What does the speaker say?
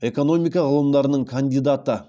экономика ғылымдарының кандидаты